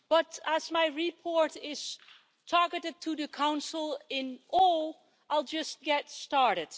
But, as my report is targeted to the Council as a whole, I'll just get started.